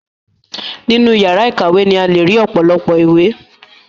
Nínú ìyàrá ìkàwé ni a le ri ọ̀pọ̀lọpọ̀ ìwé.